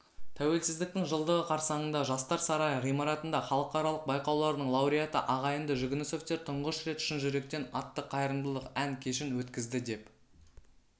тәуелсіздіктің жылдығы қарсаңында жастар сарайы ғимаратында халықаралық байқаулардың лауреаты ағайынды жүгінісовтер тұңғыш рет шын жүректен атты қайырымдылық ән кешін өткізді деп